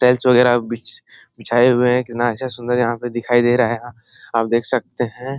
Tiles वगेरा बीछ बिछाए हुए हैं। कितना अच्छा सुंदर यहाँ पे दिखाई दे रहा है आप देख सकते हैं।